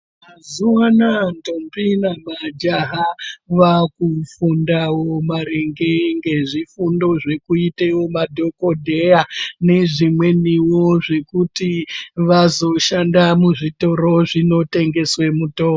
Mazuwa anaya ndombi nemajaha vakufundawo maringe ngezvifundo zvekuitewo madhokodheya nezvimweniwo zvekuti vazoshanda muzvitoro zvinotengeswe mitombo .